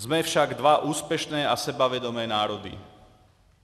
Jsme však dva úspěšné a sebevědomé národy.